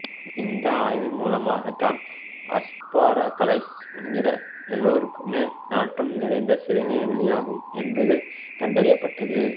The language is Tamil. இந்த ஆய்வின் மூலமாக தான் அஸ்பாரகஸை உண்கிற எல்லோருக்குமே நாற்றம் நிறைந்த சிறுநீர் வெளியாகும் என்பது கண்டறியப்பட்டது